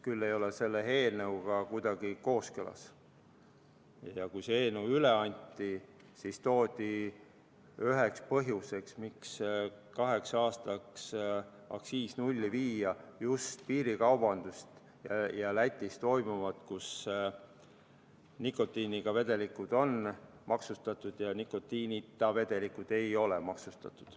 Kui see eelnõu üle anti, siis toodi üheks põhjuseks, miks kaheks aastaks aktsiis nulli viia, just piirikaubandus ja Lätis toimuv, kus nikotiiniga vedelikud on maksustatud ja nikotiinita vedelikud ei ole maksustatud.